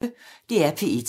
DR P1